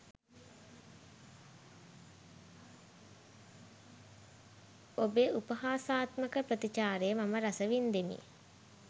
ඔබේ උපාහාසාත්මක ප්‍රතිචාරය මම රස වින්දෙමි.